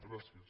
gràcies